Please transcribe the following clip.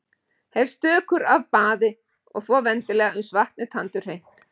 Hef stökur af baði og þvo vendilega uns vatn er tandurhreint.